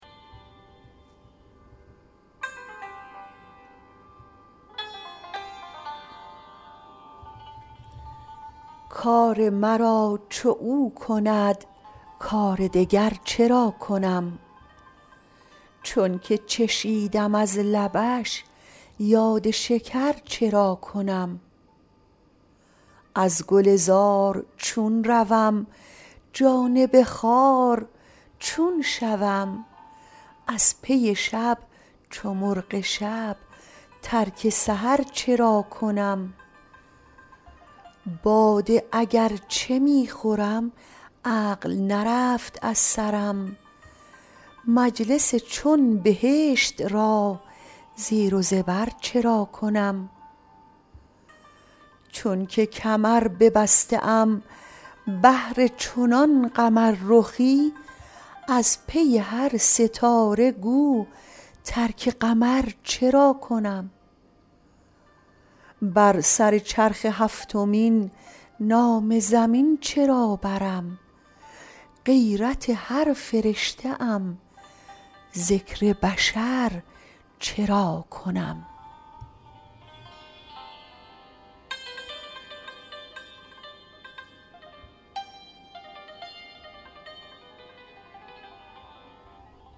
کار مرا چو او کند کار دگر چرا کنم چونک چشیدم از لبش یاد شکر چرا کنم از گلزار چون روم جانب خار چون شوم از پی شب چو مرغ شب ترک سحر چرا کنم باده اگر چه می خورم عقل نرفت از سرم مجلس چون بهشت را زیر و زبر چرا کنم چونک کمر ببسته ام بهر چنان قمررخی از پی هر ستاره گو ترک قمر چرا کنم بر سر چرخ هفتمین نام زمین چرا برم غیرت هر فرشته ام ذکر بشر چرا کنم